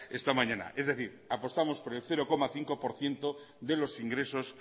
esta mañana es decir apostamos por el cero coma cinco por ciento de los ingresos